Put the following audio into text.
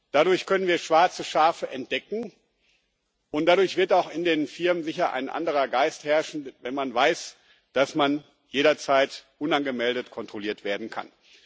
Dadurch können wir schwarze Schafe entdecken, und dadurch wird auch in den Firmen sicher ein anderer Geist herrschen, wenn man weiß, dass man jederzeit unangemeldet kontrolliert werden kann.